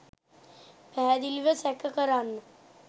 පැහැදිලිව සැක කරන්න